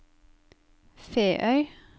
Feøy